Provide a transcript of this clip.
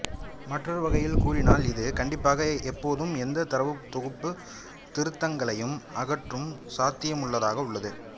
மற்றொரு வகையில் கூறினால் இது கண்டிப்பாக எப்போதும் எந்த தரவுத் தொகுப்புத் திருத்தங்களையும் அகற்றும் சாத்தியமுள்ளதாக உள்ளது